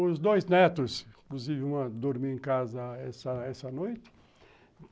Os dois netos, inclusive, vão dormir em casa essa noite.